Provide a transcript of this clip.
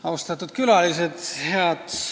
Austatud külalised!